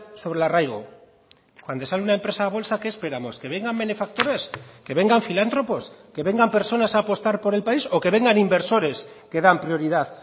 sobre el arraigo cuando sale una empresa a bolsa qué esperamos que vengan benefactores que vengan filántropos que vengan personas a apostar por el país o que vengan inversores que dan prioridad